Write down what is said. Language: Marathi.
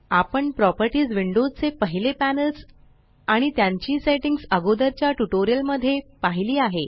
आपण प्रॉपर्टीस विंडो चे पहिले पॅनल्स आणि त्यांची सेट्टिंग्स अगोदरच्या ट्यूटोरियल मध्ये पाहिली आहे